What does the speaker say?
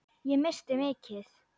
Ég missti mikið.